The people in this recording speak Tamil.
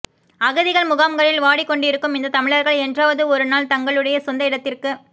அகதிகள் முகாம்களில் வாடிக் கொண்டிருக்கும் இந்தத் தமிழர்கள் என்றாவது ஒரு நாள் தங்களுடைய சொந்த இடத்திற்குத்